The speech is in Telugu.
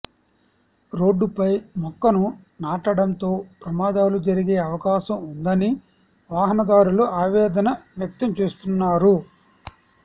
రోడ్డుపై మొక్కను నాటడంతో ప్రమాదాలు జరిగే అవకాశం ఉందని వాహనదారులు ఆవేదన వ్యక్తం చేస్తున్నారు